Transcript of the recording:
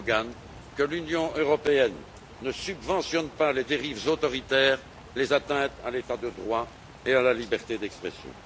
Erdoğan que l'Union européenne ne subventionne pas les dérives autoritaires ou les atteintes à l'état de droit et à la liberté d'expression.